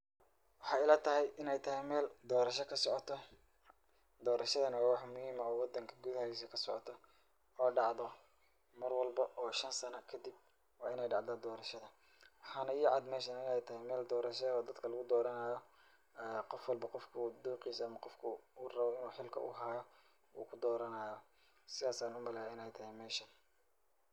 Waxay ilatahay inay tahay meel doorasho ka socoto. Doorashada waa wax muhiim ah oo wadanka gudahiisa ka socoto oo dhacdo mar walbo oo shan sano kadib waa inay dhacdaa doorashada. Waxaana ii cad meeshan inay tahay meel doorasha eh oo dadka lugu dooranaayo ee qof walbo qofka uu dooqiisa ah ama qofka u uu rabo inuu hilka u haayo uu ku dooranaayo. Sidas ayaan u maleeya inay tahay meeshan.